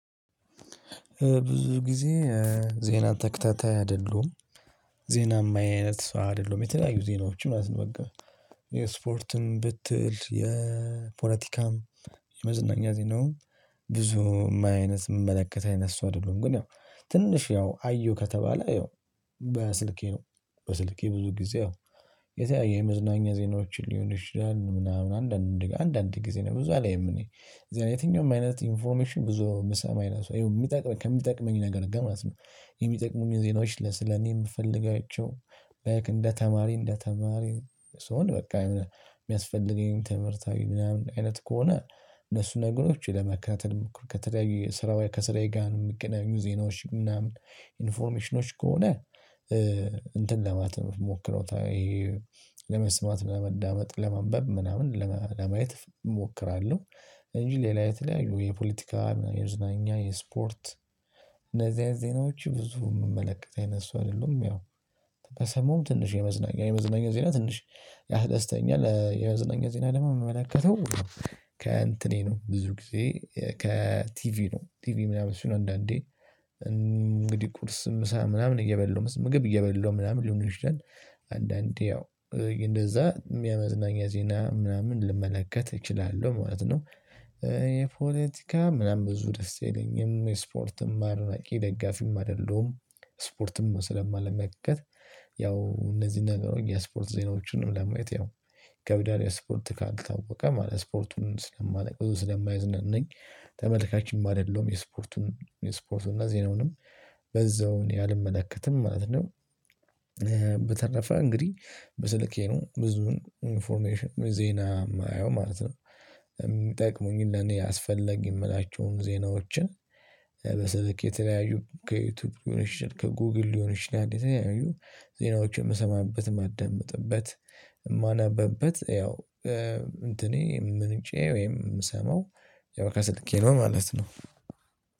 ብዙ ጊዜ ዜና ተከታታይ አይደሉም ዜና ሚያይ አይነት ሰው አይደሉም የተለያዩ ዜናዎች ማለት ነው። በቃ የስፖርትን ብትል የፖለቲካም የመዝናኛ ዜናው ብዙ የሚያይ የምመለከት አይነት ሰው አይደሉም። ግን ያው ትንሽ ያው አየሁ ከተባለ ያው በስልኬ ነው። በስልኬ ብዙ ጊዜ ያው የተለያየ የመዝናኛ ዜናዎችን ሊሆን ይችላል ምናምን አንዳንድ አንዳንድ ጊዜ ነው። ብዙ አላየም እኔ የትኛውም አይነት ኢንፎርሜሽን ብዙ ምሰማ አይነት ሰው ይሄው የሚጠቅመኝ ከሚጠቅመኝ ነገር ጋር ማለት ነው። የሚጠቅሙኝ ዜናዎች ለስለኔ የምፈልጋቸው እንደ ተማሪ እንደ ተማሪ ስሆን በቃ የሚያስፈልገኝ ትምህርታዊ ምናምን አይነት ከሆነ። እነሱ ነገሮች ለመከታተል ከተለያዩ ስራዬ ከስራዬ ጋር ነው የምገናኙ ዜናዎች ምናምን ኢንፎርሜሽኖች ከሆነ እንትን ለማለት ነው ምሞክረው ለመስማት ለማዳመጥ ለማንበብ ምናምን ለማየት እሞክራለሁ። እንጂ ሌላ የተለያዩ የፖለቲካ የመዝናኛ የስፖርት እነዚህ አይነት ዜናዎች ብዙ የምመለከት አይነት ሰው አይደለም። ያው በሰማውም ትንሽ የመዝናኛ የመዝናኛ ዜና ትንሽ ያህል ደስተኛ የመዝናኛ ዜና ደግሞ የምመላከተው ከእንትኔ ነው። ብዙ ጊዜ ከቲቪ ነው ቲቪ ምናምን ሲኖር ነው አንዳንዴ እንግዲህ ቁርስ ምሳ ምናምን እየበላው ምግብ እየበሉ ምናምን ሊሆን ይችላል። አንዳንዴ ያው እንደዛ የመዝናኛ ዜና ምናምን ልመለከት እችላለሁ ማለት ነው። የፖለቲካ ምናምን ብዙ ደስ አይለኝም የስፖርትም አድናቂ ደጋፊም አይደለሁም። ስፖርትም ስለማልመከት ያው እነዚህ ነገሮች የስፖርት ዜናዎችንም ለማየት ያው ይከብዳል ስፖርት ካልታወቀ ማለት ስፖርቱን ስለማላቅ ስለማያዝናናኝ ተመልካችም አደለሁም የስፖርቱን የስፖርቱን እና ዜናውንም በዛውን አልመለከትም ማለት ነው። በተረፈ እንግዲህ በስልኬ ነው ብዙውን ኢንፎርሜሽን ዜና የማየው ማለት ነው። የሚጠቅሙኝን ለኔ አስፈላጊ የምላቸውን ዜናዎችን በስልክ የተለያዩ ከዩቲዩብ ሊሆን ይችላል ከጉግል ሊሆን ይችላል የተለያዩ ዜናዎችን የምሰማበት ማደምጥበት የማነበበት ያው እንትኔ ምንጬ ወይም የምሰማው ከስልኬ ነው። ማለት ነው